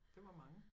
Det var mange